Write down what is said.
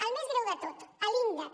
el més greu de tot l’índex